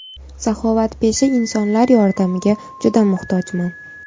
Saxovatpesha insonlar yordamiga juda muhtojman.